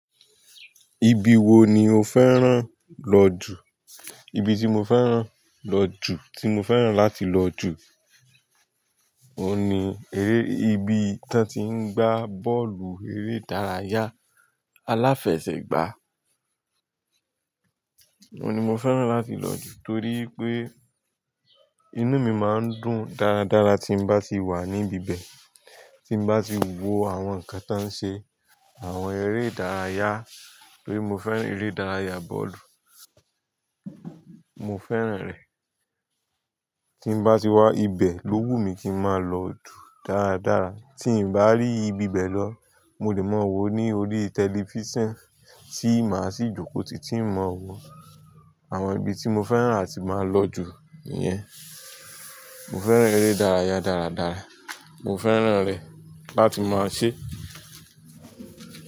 Ibi wo ni o fẹ́ràn lọ jù? Ibi tí mo fẹ́ràn lọ jù, tí mo fẹ́ràn láti lọ jù, òun ni eré, ibi tán tí ń gbá bọ́ọ̀lù eré ìdárayá aláfẹsẹ̀gbá. Ohun ni no féràn láti lò jù torí pé inú ni màa dùn dáradára tí bá tí wà níbè bè tí bá ti wo àwon nkan tó se àwon eré ìdárayá torí mo fẹ́ràn eré ìdárayá bọ́ọ̀lù, mo fẹ́ràn rẹ̀. Tí n bá ti wà ibẹ̀ lówú mi kí n máa lọ dùn dáradára. Tí n bá rí ibi ibẹ̀ lọ, mo lè máa wò ó ní orí tẹlifísàn tí màá sì jókòó títí n máa wò àwọn ibi tí mo fẹ́ràn àti máa lọ jù yẹn. Mo fẹ́ràn eré ìdárayá dáradára. Mo fẹ́ràn rẹ̀ láti máa ṣe.